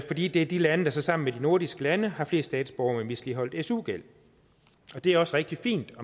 fordi det er de lande der sammen med de nordiske lande har flest statsborgere med misligholdt su gæld det er også rigtig fint